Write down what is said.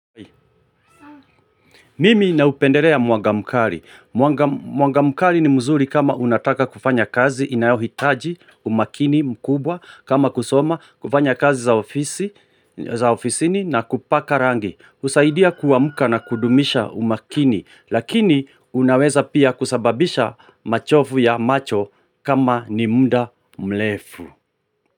Mimi naupendelea mwanga mkali. Mwanga mkali ni mzuri kama unataka kufanya kazi inayohitaji umakini mkubwa kama kusoma, kufanya kazi za ofisini na kupaka rangi. Husaidia kuamka na kudumisha umakini lakini unaweza pia kusababisha machovu ya macho kama ni muda mrefu.